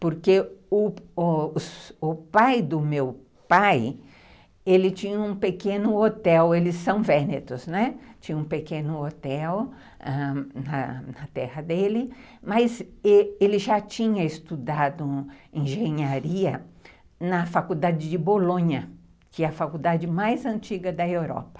Porque o pai do meu pai tinha um pequeno hotel, eles são vênetos, né, tinha um pequeno hotel na terra dele, mas ele já tinha estudado engenharia na faculdade de Bolonha, que é a faculdade mais antiga da Europa.